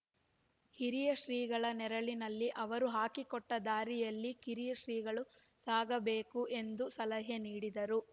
ಹಿರಿಯ ಶ್ರೀಗಳ ನೆರಳಲ್ಲಿ ಅವರು ಹಾಕಿಕೊಟ್ಟದಾರಿಯಲ್ಲಿ ಕಿರಿಯ ಶ್ರೀಗಳು ಸಾಗಬೇಕು ಎಂದು ಸಲಹೆ ನೀಡಿದರು